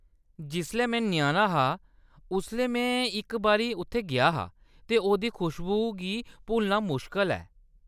जिसलै में ञ्याणा हा उसलै में इक बारी उत्थै गेआ हा ते ओह्‌‌‌दी खुशबू गी भुल्लना मुश्कल ऐ।